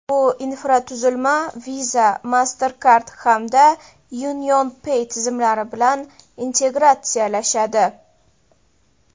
Bu infratuzilma Visa, Mastercard hamda UnionPay tizimlari bilan integratsiyalashadi.